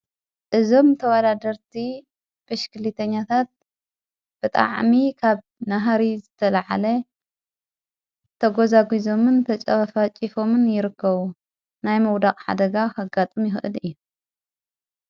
እዞም ተዋላደርቲ ብሽክሊተኛታት ብጥ ዓሚ ኻብ ናህሪ ዝተለዓለ ተጐዛጕዞምን ተጨበፋ ጭፎምን ይርከዉ ናይ መውዳቕ ሓደጋ ኸጋጡም ይሁእድ እየ።